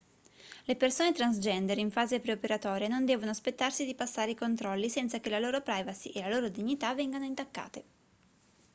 le persone transgender in fase pre-operatoria non devono aspettarsi di passare i controlli senza che la loro privacy e la loro dignità vengano intaccate